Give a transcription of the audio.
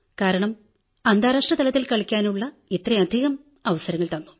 കാരണം അന്താരാഷ്ട്ര തലത്തിൽ കളിക്കാനുള്ള ഇത്രയധികം അവസരങ്ങൾ തന്നു